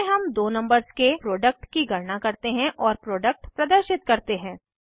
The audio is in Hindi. इसमें हम दो नंबर्स के प्रोडक्ट की गणना करते हैं और प्रोडक्ट प्रदर्शित करते हैं